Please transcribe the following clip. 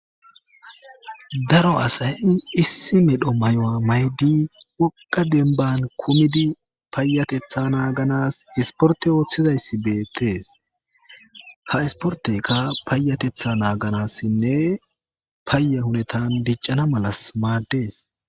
Daro asayi issi medho may'oa maydi poqa denban kumidi paayatetha naaganas isporte ooththizayssi beettees ha isportekka payatetha naaganassinne payye hunetan diccana malas maaddees.